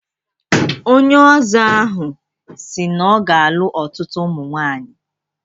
Onye Ọzọ ahụ si na ọ ga-alụ ọtutu ụmụ nwaanyi.